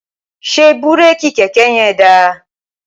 ṣé búréèkì kẹ̀kẹ́ yẹn da?